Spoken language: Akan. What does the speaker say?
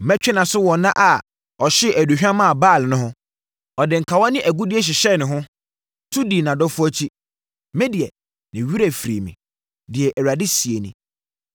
Mɛtwe nʼaso wɔ nna a ɔhyee aduhwam maa Baal no ho; ɔde nkawa ne agudeɛ hyehyɛɛ ne ho, tu dii nʼadɔfoɔ akyi, medeɛ ne werɛ firii me,” deɛ Awurade seɛ nie.